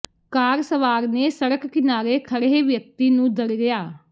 ਕਾਰ ਸਵਾਰ ਨੇ ਸੜਕ ਕਿਨਾਰੇ ਖੜੇ੍ਹ ਵਿਅਕਤੀ ਨੂੰ ਦਰੜਿਆ